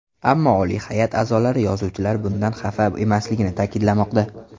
Ammo oliy hay’at a’zolari yozuvchilar bundan xafa emasligini ta’kidlamoqda.